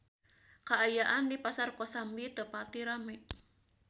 Kaayaan di Pasar Kosambi teu pati rame